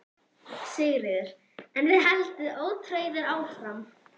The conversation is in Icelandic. Sigríður: En þið haldið ótrauðir áfram?